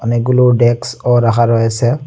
অনেকগুলো ডেক্সও রাখা রয়েসে ।